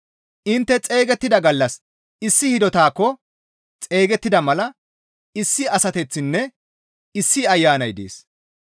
Intte xeygettida gallas issi hidotaakko xeygettida mala issi asateththinne issi Ayanay dees.